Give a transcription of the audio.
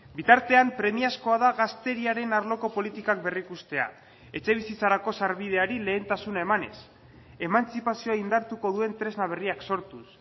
bitartean premiazkoa da gazteriaren arloko politikak berrikustea etxebizitzarako sarbideari lehentasuna emanez emantzipazioa indartuko duen tresna berriak sortuz